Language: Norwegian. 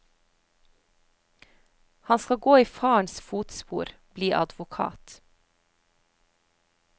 Han skal gå i farens fotspor, bli advokat.